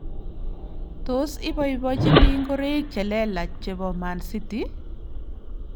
Tos iboibojini ngoroik che lelach chebo Man City ?